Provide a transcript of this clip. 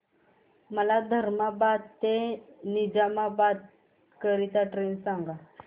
मला धर्माबाद ते निजामाबाद करीता ट्रेन सांगा